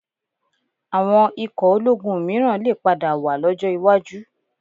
Àwọn ikò ológun mìíràn lè padà wà lọ́jọ́ iwájú